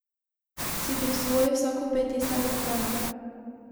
Si prisvoji vsako ped tistega kraja.